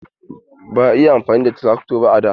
Ba a yi amfani da trakto ba a da.